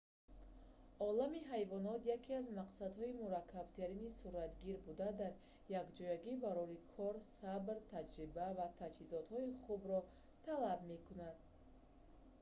олами ҳайвонот яке аз мақсадҳои мураккабтарини суратгир буда дар якҷоягӣ барори кор сабр таҷриба ва таҷҳизоти хубро талаб мекунад